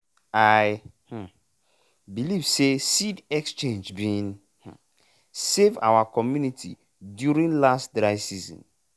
i um believe say seed exchange bin um save our community during last dry season